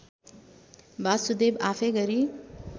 वासुदेब आफै गरी